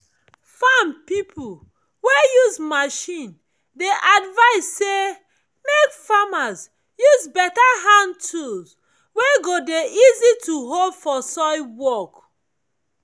farm pipo wey use machine dey advise say mek farmers use better hand tool wey go dey easy to hold for soil work.